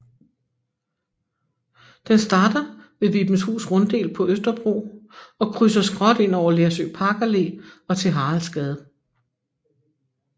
Den starter ved Vibenshus Runddel på Østerbro og krydser skråt ind over Lersø Parkallé og til Haraldsgade